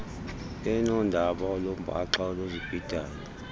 benoodaba olumbaxa noluzibhidayo